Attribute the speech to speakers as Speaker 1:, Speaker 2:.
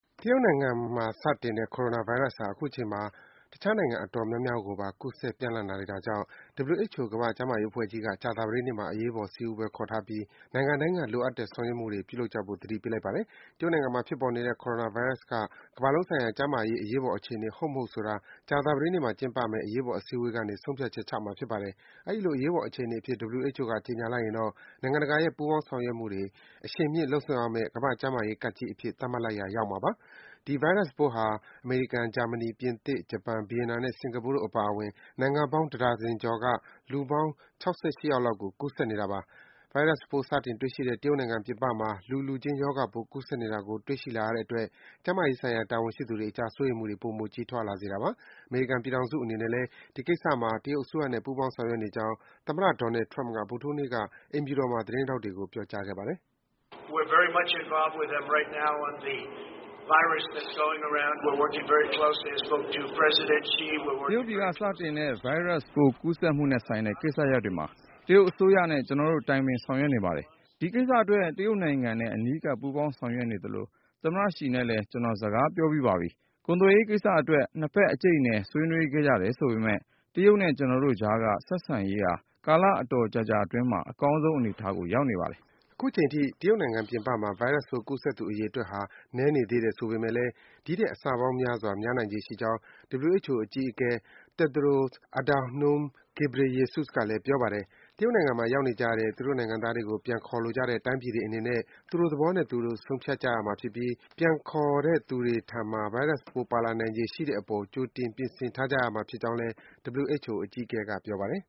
Speaker 1: တရုတ်နိုင်ငံမှာ စတင်တဲ့ Coronavirus ဟာ အခုချိန်မှာ တခြားနိုင်ငံ အတော်များများ ကိုပါ ကူးစက် ပျံ့နှံ့လာနေတာကြောင့် WHO ကမ္ဘာ့ကျန်းမာရေး အဖွဲ့ကြီးက ကြာသပတေးနေ့မှာ အရေးပေါ် စည်းဝေးပွဲ ခေါ်ထားပြီး နိုင်ငံတိုင်းက လိုအပ်တဲ့ ဆောင်ရွက်မှုတွေ ပြုလုပ်ကြဖို့ သတိပေးလိုက်ပါတယ်။ တရုတ်နိုင်ငံမှာ ဖြစ်ပေါ်နေတဲ့ Coronavirus က ကမ္ဘာလုံးဆိုင်ရာ ကျန်းမာရေး အရေးပေါ် အခြေအနေ ဟုတ် မဟုတ်ဆိုတာကို ကြာသပတေးနေ့မှာ ကျင်းပမယ့် အရေးပေါ် စည်းဝေးပွဲကနေ ဆုံးဖြတ်ချက်ချမှာ ဖြစ်ပါတယ်။ အဲဒီလို အရေးပေါ် အခြေအနေအဖြစ် WHO က ကြေညာလိုက်ရင်တော့ နိုင်ငံတကာရဲ့ ပူးပေါင်းဆောင်ရွက်မှုတွေ အရှိန်မြှင့်လုပ်ဆောင်ရမယ့် ကမ္ဘာ့ကျန်းမာရေး ကပ်ဘေးကြီးအဖြစ် သတ်မှတ်လိုက်ရာ ရောက်မှာပါ။ ဒီဗိုင်းရပ်ပိုးဟာ အမေရိကန်၊ ဂျာမနီ၊ ပြင်သစ်၊ ဂျပန်၊ ဗီယက်နမ်နဲ့ စင်္ကာပူတို့ အပါအဝင် နိုင်ငံပေါင်း တဒါဇင်ကျော်က လူပေါင်း ၆၈ ယောက်လောက်ကို ကူးစက်နေတာပါ။ ဗိုင်းရပ်စ်ပိုး စတင်တွေ့ရှိတဲ့ တရုတ်နိုင်ငံပြင်ပမှာ လူလူခြင်း ရောဂါပိုး ကူးစက်နေတာကို တွေ့ရှိလာရတဲ့အတွက် ကျန်းမာရေးဆိုင်ရာ တာဝန်ရှိသူတွေအကြား စိုးရိမ်မှုတွေ ပိုမို ကြီးထွားလာစေတာပါ။ အမေရိကန်ပြည်ထောင်စု အနေနဲ့လည်း ဒီကိစ္စမှာ တရုတ်အစိုးရနဲ့ ပူးပေါင်း ဆောင်ရွက်နေကြောင်း သမ္မတ Donald Trump က ဗုဒ္ဓဟူးနေ့က အိမ်ဖြူတော်မှာ သတင်းထောက်တွေကို ပြောကြားခဲ့ပါတယ်။ “
Speaker 2: တရုတ်ပြည်က စတင်တဲ့ ဗိုင်းရပ်စ်ပိုး ကူးစက်မှုနဲ့ဆိုင်တဲ့ ကိစ္စရပ်တွေမှာ တရုတ်အစိုးရနဲ့ ကျနော်တို့ တိုင်ပင် ဆောင်ရွက်နေပါတယ်။ ဒီကိစ္စအတွက် တရုတ်နိုင်ငံနဲ့ အနီးကပ် ပူးပေါင်းဆောင်ရွက်နေသလို သမ္မတရှီနဲ့လည်း ကျနော် စကားပြောပြီးပါပြီ။ ကုန်သွယ်ရေးကိစ္စ အတွက် နှစ်ဘက် အကြိတ်အနယ် ဆွေးနွေးခဲ့ကြတယ်ဆိုပေမယ့် တရုတ်နဲ့ ကျနော်တို့အကြားက ဆက်ဆံရေးဟာ ကာလအတော်ကြာကြာ အတွင်းမှာ အကောင်းဆုံး အနေအထားကို ရောက်နေပါတယ်။”
Speaker 1: အခုချိန်အထိ တရုတ်နိုင်ငံပြင်ပမှာ ဗိုင်းရပ်စ်ပိုး ကူးစက်သူအရေအတွက်ဟာ နည်းနေသေးတယ် ဆိုပေမယ့်လည်း ဒီထက် အဆပေါင်းများစွာ များနိုင်ခြေရှိကြောင်း WHO အကြီးအကဲ Tedros Adhanom Ghebreyesus ကလည်း ပြောပါတယ်။ တရုတ်နိုင်ငံမှာ ရောက်နေကြတဲ့ သူတို့နိုင်ငံသားတွေကို ပြန်ခေါ်လိုကြတဲ့ တိုင်းပြည်တွေအနေနဲ့ သူတို့သဘောနဲ့သူတို့ ဆုံးဖြတ်ကြရမှာဖြစ်ပြီး ပြန်ခေါ်တဲ့သူတွေထံမှာ ဗိုင်းရပ်စ်ပိုး ပါလာနိုင်ခြေရှိတဲ့ အပေါ် ကြိုတင် ပြင်ဆင်ထားကြရမှာဖြစ်ကြောင်း WHO အကြီးအကဲက ပြောပါတယ်